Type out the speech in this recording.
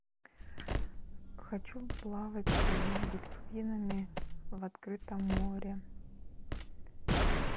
хочу плавать с дельфинами в открытом море